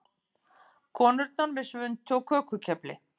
Konurnar með svuntu og kökukefli.